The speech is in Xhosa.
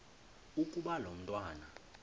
ukuba lo mntwana